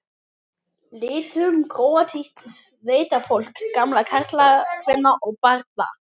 litum króatísks sveitafólks, gamalla karla, kvenna og barna.